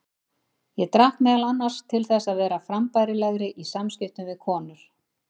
Ég drakk meðal annars til þess að vera frambærilegri í samskiptum við konur.